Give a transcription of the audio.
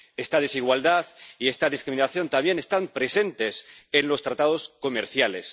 Esta desigualdad y esta discriminación también están presentes en los tratados comerciales.